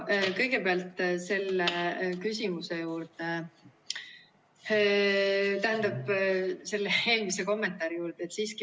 Kõigepealt selle eelmise kommentaari juurde.